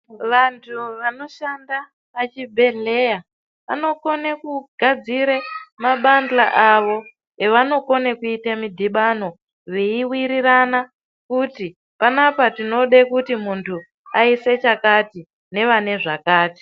Vantu vanoshanda pachibhedhleya vanokone kugadzire mabandla avo evanokone kuita midhibano veiwirirana kuti panapa tinoda kuti muntu aise chakati nevane zvakati.